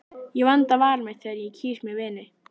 Ég vanda val mitt þegar ég kýs mér vini.